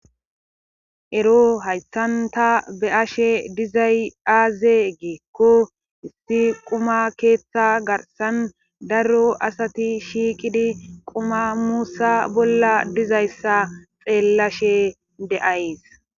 ero haytanta be ashe dizay aaze geekko issi quma keeththa garsan daro asati shiiqidi quma muussa bolla dizayssa xeellashe de,ays